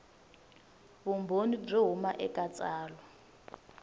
vumbhoni byo huma eka tsalwa